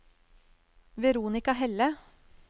Veronica Helle